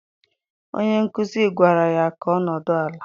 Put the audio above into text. Onye nkuzi gwara ya ka ọ nọdụ ala!